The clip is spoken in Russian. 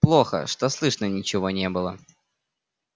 плохо что слышно ничего не было